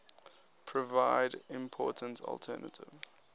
provide important alternative